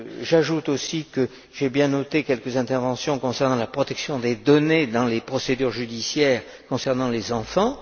J'ajoute aussi que j'ai bien noté les quelques interventions sur la protection des données dans les procédures judiciaires concernant les enfants.